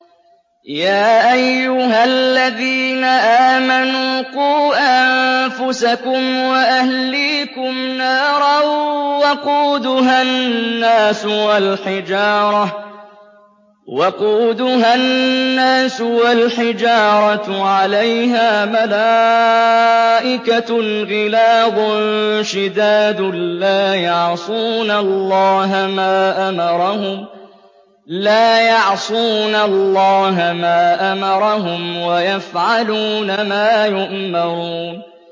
يَا أَيُّهَا الَّذِينَ آمَنُوا قُوا أَنفُسَكُمْ وَأَهْلِيكُمْ نَارًا وَقُودُهَا النَّاسُ وَالْحِجَارَةُ عَلَيْهَا مَلَائِكَةٌ غِلَاظٌ شِدَادٌ لَّا يَعْصُونَ اللَّهَ مَا أَمَرَهُمْ وَيَفْعَلُونَ مَا يُؤْمَرُونَ